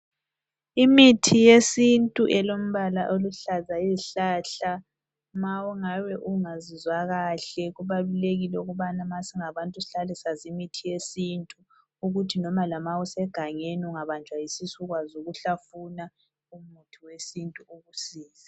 Imithi yesintu elombala oluhlaza izihlahla, ma ungabe ungazizwa kahle kubalulekile ukubana ma singabantu sihlale sazi imithi yesintu ukuthi noma lama usegangeni ungabanjwa yisisu ukwazi ukuhlafuna umuthi wesintu ukusize.